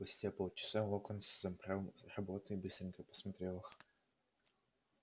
спустя полчаса локонс собрал работы и быстренько просмотрел их